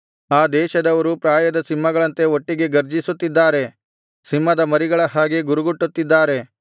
ಆ ದೇಶದವರು ಪ್ರಾಯದ ಸಿಂಹಗಳಂತೆ ಒಟ್ಟಿಗೆ ಗರ್ಜಿಸುತ್ತಿದ್ದಾರೆ ಸಿಂಹದ ಮರಿಗಳ ಹಾಗೆ ಗುರುಗುಟ್ಟುತ್ತಿದ್ದಾರೆ